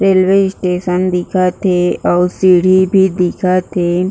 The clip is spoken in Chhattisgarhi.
रेलवे स्टेशन दिखत हे अउ सीढ़ी भी दिखत हे।